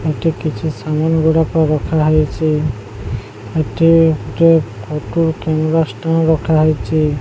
ଏଠି କିଛି ସାମାନ୍ ଗୁଡ଼ାକ ରଖା ହେଇଚି। ଏଠି ଗୋଟେ ଫଟୋ କିଣିବା ଷ୍ଟାଣ୍ଡ୍ ରଖା ହେଇଚି।